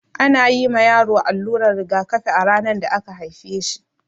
Ana yi ma yaro alluran rigakafi a ranar da aka haife shi.